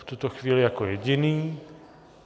V tuto chvíli jako jediný.